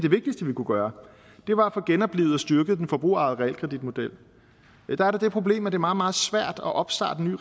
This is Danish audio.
kunne gøre var at få genoplivet og styrket den forbrugerejede realkreditmodel der er der det problem at det er meget meget svært at opstarte en